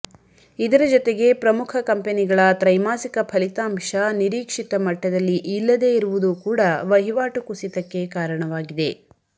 ಇದರ ಜತೆಗೆ ಪ್ರಮುಖ ಕಂಪೆನಿಗಳ ತ್ರೈಮಾಸಿಕ ಫಲಿತಾಂಶ ನಿರೀಕ್ಷಿತ ಮಟ್ಟದಲ್ಲಿ ಇಲ್ಲದೇ ಇರುವುದೂ ಕೂಡಾ ವಹಿವಾಟು ಕುಸಿತಕ್ಕೆ ಕಾರಣವಾಗಿದೆ